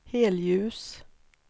helljus